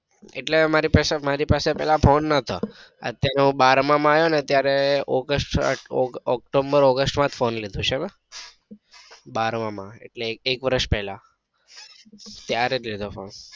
એટલે મારી પાસે મારી પાસે પેલા ફોને નતો અત્યારે હું બારમા માં આવ્યો ત્યારે ઓગસ્ટ ઓક્ટોમ્બર ઓગસ્ટ માં જ ફોને લીધો છે બારમા માં એટલે એક વર્ષ પેલા.